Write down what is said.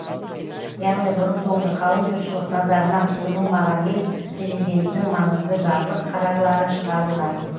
яғни бұрын соңды қалың жұртшылық назарына ұсынылмаған ел президентінің маңызды жарлық қарарлары шығарылған